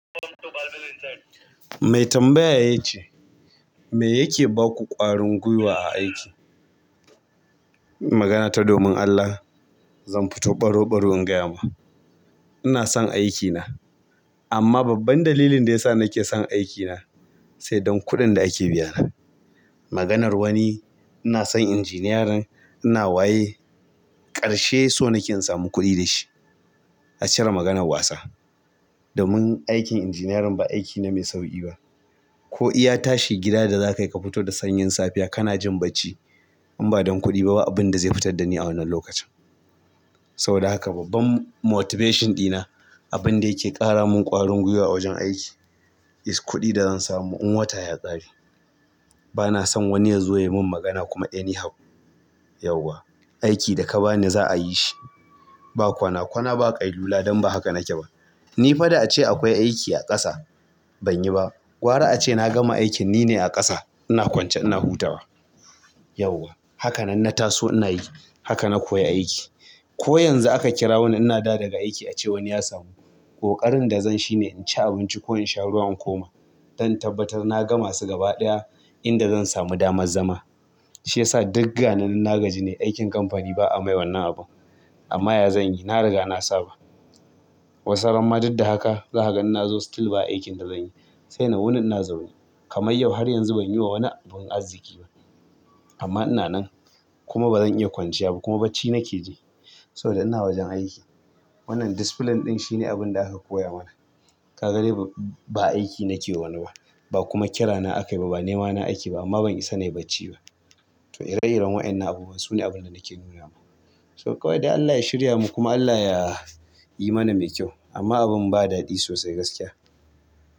Mai tambaya ya ce, "Me yake ba ku ƙwarin gwiwa a aiki?" magana ta domin allah zan fito baro baro in gaya ma ina son aikina, amma babban dalilin da ya sa nake son aikina sai don kuɗin da ake biyana. Maganar wani, ina son injiniyarin ina waye, ƙarshe so nake in samu kuɗi da shi. A cire maganar wasa. Domin aikin injiniyarin ba aiki ne mai sauƙi ba. Ko iya tashi gida da za ka yi ka fito da sanyin safiya ka na jin bacci, in ba don kuɗi ba, ba abun da zai fitar da ni a wannan lokacin. Saboda haka babban motivation ɗina, abun da yake ƙara mun ƙwarin gwiwa a wajen aiki is kuɗin da zan samu in wata ya ƙare. Bana son wani ya zo ya min magana kuma anyhow, yauwa. Aiki da ka ba ni za'a yi shi. Ba kwana, kwana ba kai lula don ba haka nake ba. Ni faɗa ace akwai aiki a ƙasa, ban yi ba. Gwara ace na gama aikin nine a ƙasa ina kwance ina hutawa. Yauwa. Haka nan na taso ina yi. Haka na koyi aiki. Ko yanzu aka kirawoni ina dawowa daga aiki ace wani ya samu. Koƙarin da zan shi ne in ci abinci ko in sha ruwa in koma don in tabbatar na ga masu gaba ɗaya inda zan samu damar zama. Shi ya sa digga ni nagajini aikin kamfani ba'a mai wannan abun. Amma ya zan yi? Na riga na saba. Wasu har ma duk da haka za ka ga inna zo still ba aikin da zan yi. Sai na wuni ina zaune. Kamar yau har yanzu ban yi wa wani abun arziki ba. Amma ina nan kuma ba zan iya kwanciya ba kuma bacci nake ji saboda ina wajen aiki. Wannan discipline ɗin shine abun da aka koya min. Ka ga dai ba aiki nake wa wani ba, ba kuma kira na aka yi ba, ba nema na ake ba amma ban isa na yi bacci ba. To ire-iren wainnan abubuwa sune abun da nake nuna ma. To ƙawai dai Allah ya shirya mu kuma Allah ya yi mana mai kyau. Amma abun ba daɗi sosai gaskiya.